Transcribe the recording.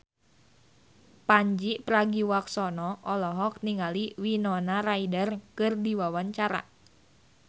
Pandji Pragiwaksono olohok ningali Winona Ryder keur diwawancara